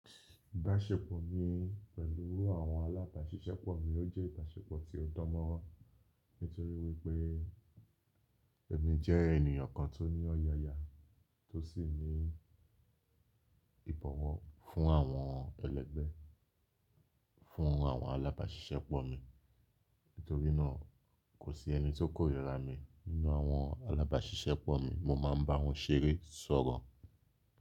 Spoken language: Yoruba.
Ìbáṣepọ̀ mi pẹ̀lú àwọn alábàáṣiṣẹ́pọ̀ mi ó jẹ́ ìbáṣepọ̀ tí ó dánmọ́rán nítorí wípé èmi jẹ́ ènìyàn kan tó ní ọ̀yààyà tó sì ní ìbọ̀wọ̀ fún àwọn ẹlẹ́gbẹ́, fún àwọn alábáṣiṣẹ́pọ̀ mi. Nítorínà kò sí ẹni tí ó kórìíra mi nínú àwọn alábáṣiṣẹ́pọ̀ mi mo máa ń bá wọn ṣeré sọ́rọ̀.